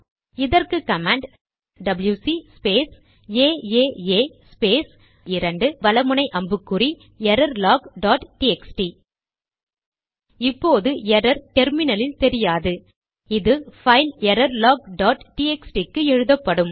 இதற்கு command W C space A A A space 2 வல முனை அம்புக்குறி எரர்லாக் டாட் டிஎக்ஸ்டி இப்போது எரர் டெர்மினலில் தெரியாது அது பைல் எரர்லாக் டாட் டிஎக்ஸ்டி க்கு எழுதப்படும்